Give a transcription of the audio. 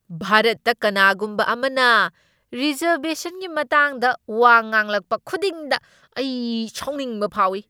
ꯚꯥꯔꯠꯇ ꯀꯅꯥꯒꯨꯝꯕ ꯑꯃꯅ ꯔꯤꯖꯔꯕꯦꯁꯟꯒꯤ ꯃꯇꯥꯡꯗ ꯋꯥ ꯉꯥꯡꯂꯛꯄ ꯈꯨꯗꯤꯡꯗ ꯑꯩ ꯁꯥꯎꯅꯤꯡꯕ ꯐꯥꯎꯢ ꯫